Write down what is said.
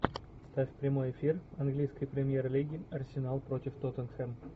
ставь прямой эфир английской премьер лиги арсенал против тоттенхэм